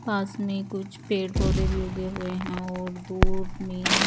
पास में कुछ पेड़ पोधे भी उगे हुए है और दूध में --